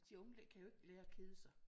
De unge kan jo ikke lære at kede sig